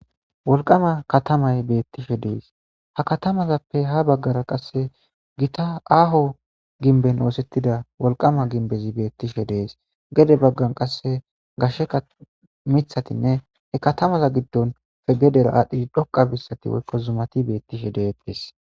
wolqama katamay beettishe dees ha katamazappe ha baggara qasse gita aaho ginben oosettida wolqama ginbezi beettishe dees gede baggan qasse gashsheka mithatinne he katamaza giddon fe gedera aadhdhishi dhoqa bissati woykko zumati beettishe deeedees